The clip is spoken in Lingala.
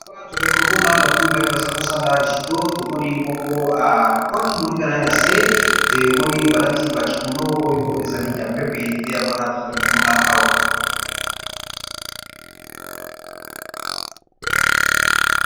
Awa tozali komona bato mibale. Baza kosala jido tomoni moko apoaki moninga na ye na se demoni balati bakimono oyo ezali ya pembe nde yangwana tozali komona awa.